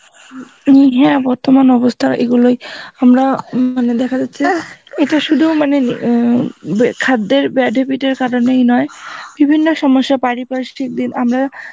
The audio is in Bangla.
এন হ্যাঁ বর্তমান অবস্থা এইগুলি আমরা মানে দেখা যাচ্ছে ইটা শুধু মানে খদ্দের bad habit এর কারণ এই নয় বিভিন্ন সমস্যা পারিপার্শিক দিন আমরা